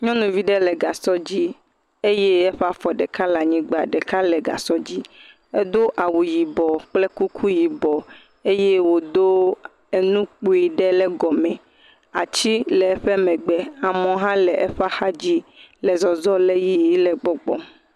Nyɔnuvi ɖe le gasɔ dzi eye eƒe afɔ ɖeka le anyigba, ɖeka le gasɔ dzi. Edo awu yibɔ kple kuku yibɔ eye wodo nu kpui ɖe ɖe gɔme. Ati le eƒe megbe, amewo hã le eƒe axadzi le zɔzɔm le yiyim le gbɔgbɔm.